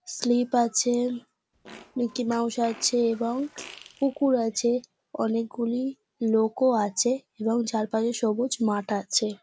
Slip আছে Mickey Mouse আছে এবং পুকুর আছে অনেকগুলি লোকও আছে এবং চারপাশে সবুজ মাঠ আছে।